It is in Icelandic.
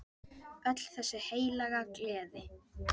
Öll þessi heilaga gleði!